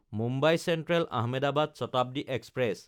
Mumbai চেন্ট্ৰেল–আহমেদাবাদ Shatabdi express